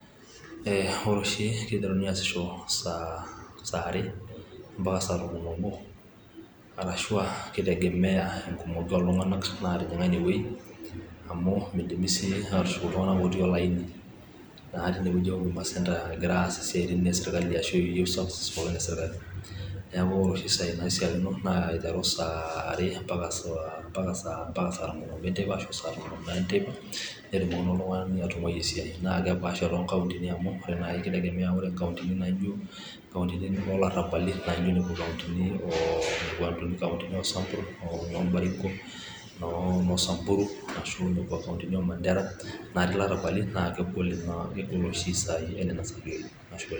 ore oshi kiteruni aasisho saa are mpaka saa tomon oobo, aashu aa kitegemea enkumoki oltunganak naatijing'a ine wueji. amu midimi aatushuk iltunganak otiii olaini. naa tene wueji e huduma center, egirae aas tene wueji isiatin esirkali. neeku ore oshi isaai naishiaakino, naa ore aiteru saa are, mpaka saa tomonoobo enteipa. netumoki naa oltungani atung'auai esiai. naa kipaasha too nkauntini amu ore naai nkauntini naijo inoo larabali, naijo inkauntini, oosambur, noo baringo, ashu nekua kauntini oo mandera natii ilarabali, naa kegol oshi isaai enena.